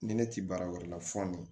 Ni ne ti baara wɛrɛ la fɔ